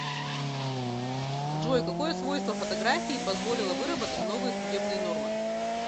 джой какое свойство фотографии позволило выработать новые судебные нормы